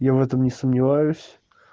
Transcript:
я в этом не сомневаюсь